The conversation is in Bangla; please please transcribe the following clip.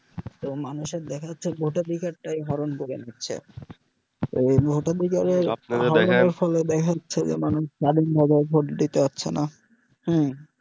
তো মানুষের দেখা যাছে যে ভোটাধিকার তাই হরন করে নিচ্ছে ওই ভোটাধিকারের দেখা যাছে যে মানুষ ভোট দিতে পাচ্ছে না